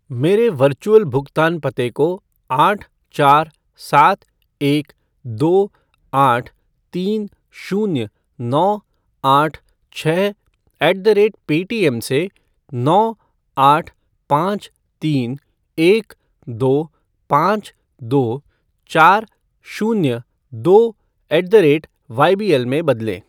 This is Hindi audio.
मेरे वर्चुअल भुगतान पते को आठ चार सात एक दो आठ तीन शून्य नौ आठ छः ऐट द रेट पेटीएम से नौ आठ पाँच तीन एक दो पाँच दो चार शून्य दो ऐट द रेट वाईबीएल में बदलें